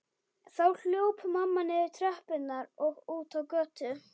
Þá hljóp mamma niður tröppurnar og út á götu.